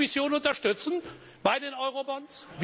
Wollen wir die Kommission unterstützen bei den Eurobonds?